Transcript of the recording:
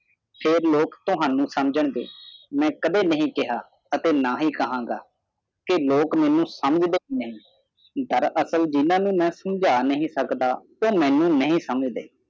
ਫਰ ਲੋਕ ਤੁਹਾਨੂੰ ਸਮਝਣਗੇ ਮੈ ਕਦੇ ਨਹੀਂ ਕਿਹਾ ਨਾ ਹੀ ਕਹਾਂਗਾ ਕੇ ਲੋਕ ਮੈਨੂੰ ਸਮਝਦੇ ਨਹੀਂ ਡਾਰ ਅਸਲ ਜਿਨ੍ਹਾਂ ਨੂੰ ਮੈ ਸਮਝ ਨਹੀਂ ਸਕਦਾ ਓ ਮੈਨੂੰ ਨਹੀਂ ਸਮਝਦੇ